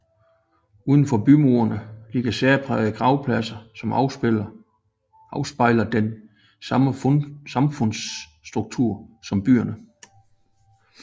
Udenfor bymuren ligger særprægede gravpladser som afspejler den samme samfundsstruktur som byerne